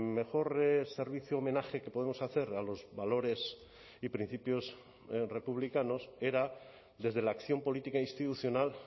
mejor servicio homenaje que podemos hacer a los valores y principios republicanos era desde la acción política institucional